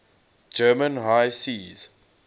german high seas